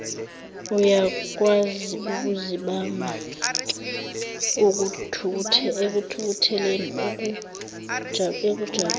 uyakwaziukuzibamba ekuthukutheleni ekujabuleni